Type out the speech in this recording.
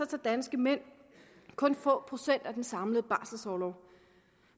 tager danske mænd kun få procent af den samlede barselorlov